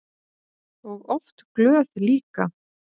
Og oft glöð líka.